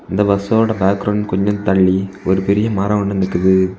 இந்த பஸ் ஓடக் பேக்ரவுண்ட் கொஞ்சம் தள்ளி ஒரு பெரிய மரம் ஒன்னு நிக்குது.